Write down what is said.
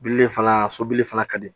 Bilili fana so bilili fana ka di